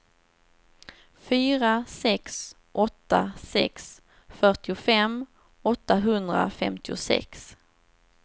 fyra sex åtta sex fyrtiofem åttahundrafemtiosex